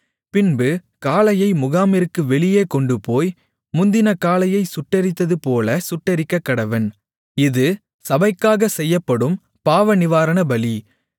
பின்பு காளையை முகாமிற்கு வெளியே கொண்டுபோய் முந்தின காளையைச் சுட்டெரித்ததுபோலச் சுட்டெரிக்கக்கடவன் இது சபைக்காகச் செய்யப்படும் பாவநிவாரணபலி